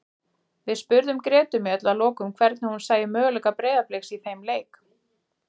Við spurðum Gretu Mjöll að lokum hvernig hún sæi möguleika Breiðabliks í þeim leik.